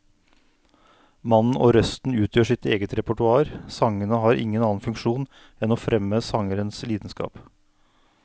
Mannen og røsten utgjør sitt eget repertoar, sangene har ingen annen funksjon enn å fremme sangerens lidenskap.